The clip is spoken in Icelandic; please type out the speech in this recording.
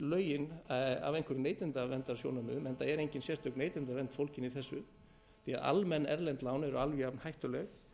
lögin af einhverjum neytendasjónarmiðum enda eru engin sérstök neytendavernd fólgin í þessu því almenn erlend lán eru alveg jafn hættuleg